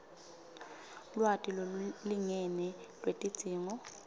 lwati lolulingene lwetidzingo